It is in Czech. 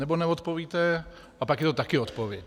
Anebo neodpovíte a pak je to také odpověď.